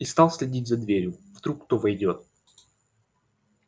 и стал следить за дверью вдруг кто войдёт